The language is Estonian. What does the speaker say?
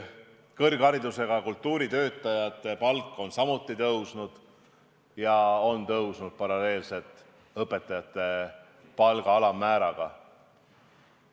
Kõrgharidusega kultuuritöötajate palk on samuti tõusnud paralleelselt õpetajate palga alammääraga.